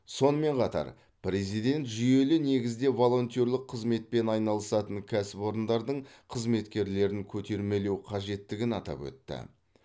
сонымен қатар президент жүйелі негізде волонтерлік қызметпен айналысатын кәсіпорындардың қызметкерлерін көтермелеу қажеттігін атап өтті